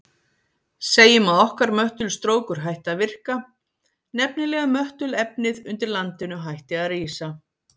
Segjum að okkar möttulstrókur hætti að virka, nefnilega möttulefnið undir landinu hætti að rísa.